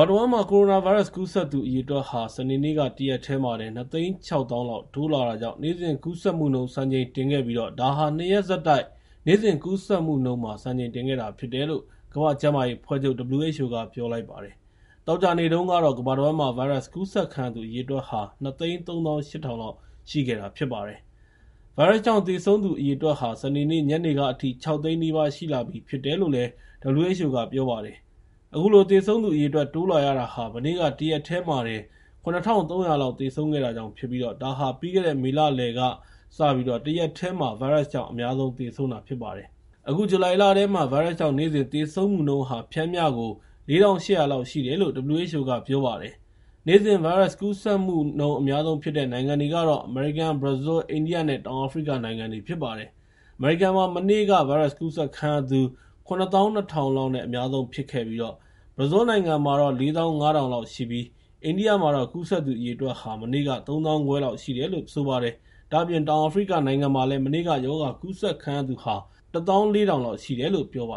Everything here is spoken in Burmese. ာတဝန်းမှာ ကိုရိုနာဗိုင်းရပ်စ် ကူးစက်သူအရေအတွက်ဟာ စနေနေ့ တရက်တည်းတင် ၂၆၀,၀၀၀ လောက် တိုးလာတာကြောင့် နေ့စဉ်ကူးစက်မှုနှုန်း စံချိန်တင်ခဲ့ပြီး ဒါဟာ ၂ ရက်ဆက်တိုက် နေ့စဉ်ကူးစက်မှုနှုန်း စံချိန်တင် မြင့်တက်ခဲ့တာဖြစ်တယ်လို့ ကမ္ဘာ့ကျန်းမာရေးအဖွဲ့ချုပ် (WHO) က ပြောလိုက်ပါတယ်။ သောကြာနေ့တုန်းကတော့ ကမ္ဘာတဝန်းမှာ ဗိုင်းရပ်စ်ကူးစက်ခံရသူ ၂၃၈,၀၀၀ လောက်ရှိခဲ့တာ ဖြစ်ပါတယ်။ ဗိုင်းရပ်စ်ကြောင့် သေဆုံးသူအရေအတွက်ဟာ စနေနေ့ညနေကအထိ ၆၀၀,၀၀၀ နီးပါး ရှိလာခဲ့ပြီဖြစ်တယ်လို့ WHO က ပြောပါတယ်။ အခုလို သေဆုံးသူအရေအတွက် တိုးလာရတာဟာ မနေ့က တရက်တည်းမှာတင် ၇,၃၀၀ လောက် သေဆုံးခဲ့တာကြောင့်ဖြစ်ပြီး ဒါဟာ ပြီးခဲ့တဲ့ မေလလယ်ကစပြီး တရက်တည်းမှာ ဗိုင်းရပ်စ်ကြောင့် အများဆုံးသေဆုံးတာ ဖြစ်ပါတယ်။ အခု ဇူလိုင်လထဲမှာ ဗိုင်းရပ်စ်ကြောင့် နေ့စဉ်သေဆုံးမှုနှုန်းဟာ ပျမ်းမျှ ၄,၈၀၀ လောက်ရှိတယ်လို့ WHO က ဆိုပါတယ်။ နေ့စဉ် ဗိုင်းရပ်စ်ကူးစက်မှု အများဆုံးဖြစ်တဲ့ နိုင်ငံတွေကတော့ အမေရိကန်၊ ဘရာဇီး၊ အိန္ဒိယနဲ့ တောင်အာဖရိကနိုင်ငံတွေ ဖြစ်ပါတယ်။ အမေရိကန်မှာ မနေ့က ဗိုင်းရပ်စ်ကူးစက်ခံရသူ ၇၂,၀၀၀ လောက်နဲ့ အများဆုံးဖြစ်ခဲ့ပြီး ဘရာဇီးနိုင်ငံမှာ ၄၅,၀၀၀ လောက်ရှိပြီး အိန္ဒိယမှာတော့ ကူးစက်သူ အရေအတွက်ဟာ မနေ့က ၃၅,၀၀၀ လောက်ရှိတယ်လို့ ဆိုပါတယ်။ ဒါ့အပြင် တောင်အာဖရိကနိုင်ငံမှာလည်း မနေ့က ရောဂါကူးစက်ခံရသူ ၁၄,၀၀၀ လောက်ရှိတယ်လို့ ပြောပါ